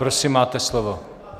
Prosím, máte slovo.